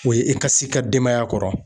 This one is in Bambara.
O ye i ka s'i ka denbaya kɔrɔ.